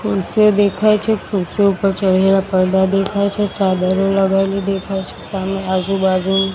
ખુરશીયો દેખાય છે ખુરશીયો પર ચડેલા પરદા દેખાય છે ચાદરો લગાયેલી દેખાય છે સામે આજુઆજુ--